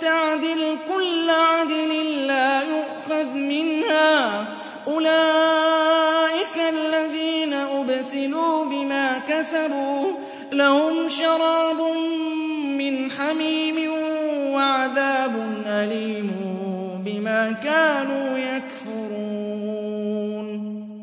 تَعْدِلْ كُلَّ عَدْلٍ لَّا يُؤْخَذْ مِنْهَا ۗ أُولَٰئِكَ الَّذِينَ أُبْسِلُوا بِمَا كَسَبُوا ۖ لَهُمْ شَرَابٌ مِّنْ حَمِيمٍ وَعَذَابٌ أَلِيمٌ بِمَا كَانُوا يَكْفُرُونَ